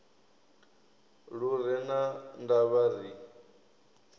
lu re na ndavha ri